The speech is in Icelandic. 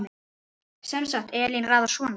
Sem sagt, Elín raðar svona